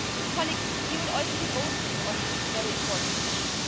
Colleagues, you will also be voting on this very important issue.